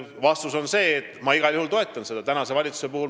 Vastus on see, et ma igal juhul toetan seda.